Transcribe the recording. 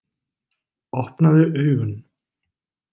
Opnaðu augun.